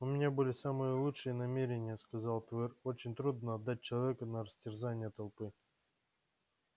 у меня были самые лучшие намерения сказал твер очень трудно отдать человека на растерзание толпы